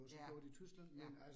Ja, ja